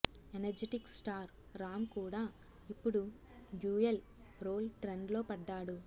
energetic star Ram కూడా ఇప్పుడు dual role trend లో పడ్డాడు